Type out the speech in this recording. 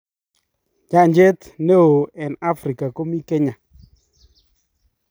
Nyanjet ne oo eng Afrika komii kenya